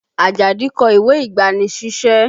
Ajadi kọ ìwé ìgbani-sísẹ́